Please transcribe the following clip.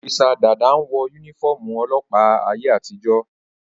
Ọ́físà Dàda n wọ yúnífọ́ọ̀mù ọlọ́ọ̀pá àtijó